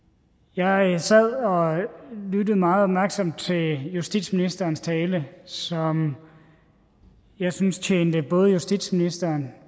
jeg sad og lyttede meget opmærksomt til justitsministerens tale som jeg syntes tjente både justitsministeren